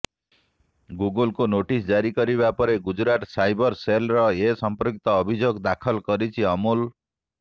ଗୁଗୁଲକୁ notice ଜାରି କରିବା ପରେ ଗୁଜରାଟ ସାଇବର ସେଲରେ ଏ ସମ୍ପର୍କିତ ଅଭିଯୋଗ ଦାଖଲ କରିଛି ଅମୁଲ